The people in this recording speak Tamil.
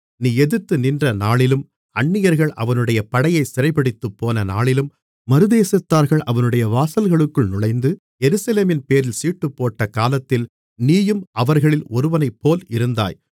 நீ எதிர்த்துநின்ற நாளிலும் அந்நியர்கள் அவனுடைய படையைச் சிறைபிடித்துப்போன நாளிலும் மறுதேசத்தார்கள் அவனுடைய வாசல்களுக்குள் நுழைந்து எருசலேமின்பேரில் சீட்டுப்போட்ட காலத்தில் நீயும் அவர்களில் ஒருவனைப்போல் இருந்தாய்